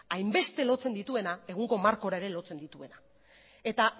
hainbeste lotzen dituena egungo markora ere lotzen dituena eta